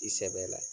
I sɛbɛ la